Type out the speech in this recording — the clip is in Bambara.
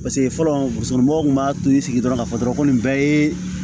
Paseke fɔlɔ musokɔrɔbaw tun b'a to i sigi dɔrɔn ka fɔ dɔrɔn ko nin bɛɛ ye